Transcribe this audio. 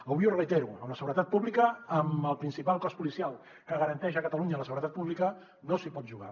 avui ho reitero amb la seguretat pública amb el principal cos policial que garanteix a catalunya la seguretat pública no s’hi pot jugar